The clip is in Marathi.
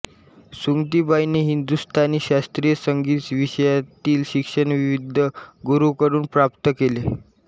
सुमतीबाईंनी हिंदुस्तानी शास्त्रीय संगीत विषयांतील शिक्षण विविध गुरूंकडून प्राप्त केले